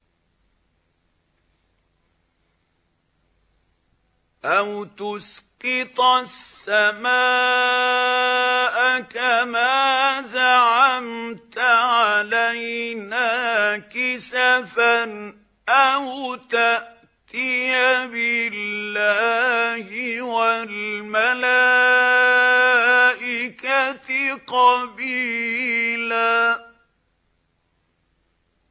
أَوْ تُسْقِطَ السَّمَاءَ كَمَا زَعَمْتَ عَلَيْنَا كِسَفًا أَوْ تَأْتِيَ بِاللَّهِ وَالْمَلَائِكَةِ قَبِيلًا